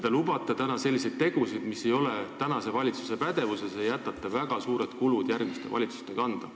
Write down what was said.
Te lubate teha selliseid tegusid, mis ei ole tänase valitsuse pädevuses, ja jätate väga suured kulud järgmiste valitsuste kanda.